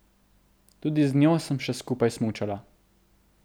Tudi z njo sem še skupaj smučala.